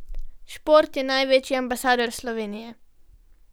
Šport je največji ambasador Slovenije.